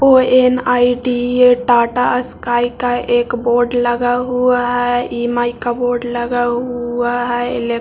ओ.एन.आई.टी.ई.ए. Tata Sky का एक board लगा हुआ है ई.एम.आई. का बोर्ड लगा हुआ है इलेक्ट्रो --